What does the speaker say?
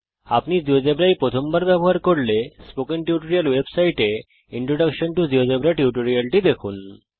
যদি আপনি জীয়োজেব্রা এই প্রথমবার ব্যবহার করছেন তাহলে স্পোকেন টিউটোরিয়াল ওয়েবসাইটে ইন্ট্রোডাকশন টো জিওজেবরা টিউটোরিয়াল দেখুন